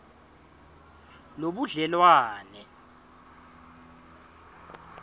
lobudlelwane